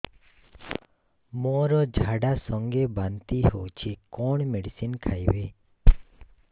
ମୋର ଝାଡା ସଂଗେ ବାନ୍ତି ହଉଚି କଣ ମେଡିସିନ ଖାଇବି